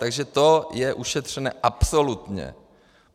Takže to je ušetřené absolutně.